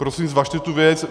Prosím zvažte tu věc.